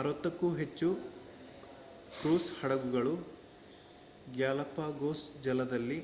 60 ಕ್ಕೂ ಹೆಚ್ಚು ಕ್ರೂಸ್ ಹಡಗುಗಳು ಗ್ಯಾಲಪಗೋಸ್ ಜಲದಲ್ಲಿ